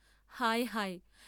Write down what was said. হায় হায়!